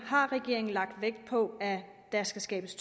har regeringen lagt vægt på at der skal skabes